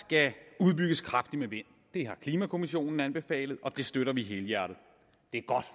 skal udbygges kraftigt med vind det har klimakommissionen anbefalet og det støtter vi helhjertet det er godt